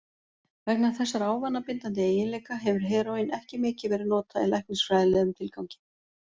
Vegna þessara ávanabindandi eiginleika hefur heróín ekki mikið verið notað í læknisfræðilegum tilgangi.